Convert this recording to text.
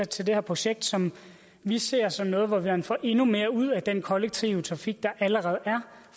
til det her projekt som vi ser som noget hvor man får endnu mere ud af den kollektive trafik der allerede er